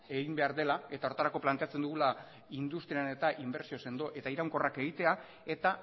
egin behar dela eta horretarako planteatzen dugula industrian inbertsio sendo eta iraunkorrak egitea eta